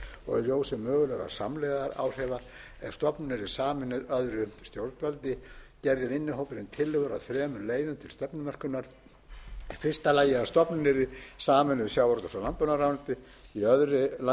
og í ljósi mögulegra samlegðaráhrifa ef stofnunin yrði sameinuð öðru stjórnvaldi gerði vinnuhópurinn tillögur að þremur leiðum til stefnumörkunar í fyrsta lagi að stofnunin yrði sameinuð sjávarútvegs og landbúnaðarráðuneyti í öðru lagi að hún verði